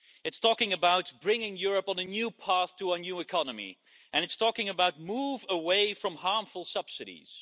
It's talking about bringing Europe on a new path to a new economy, and it's talking about a move away from harmful subsidies.